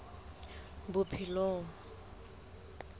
bophelong